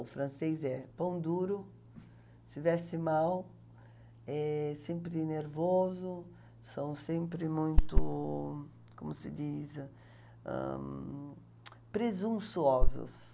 O francês é pão duro, se veste mal, é sempre nervoso, são sempre muito... como se diz? Ahn, presunçosos.